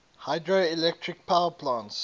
hydroelectric power plants